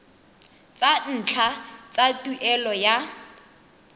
tsa ntlha tsa tuelo ya